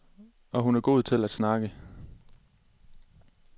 Og hun er god til at snakke.